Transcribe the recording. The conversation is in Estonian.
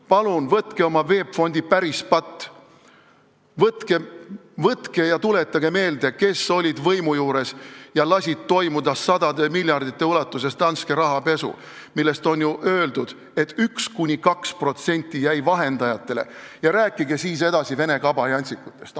Palun mõelge oma VEB Fondi pärispatule, tuletage meelde, kes olid võimu juures ja lasid sadade miljardite ulatuses toimuda Danske rahapesul, mille kohta on ju öeldud, et 1–2% jäi vahendajatele, ja rääkige siis edasi vene kabajantsikutest.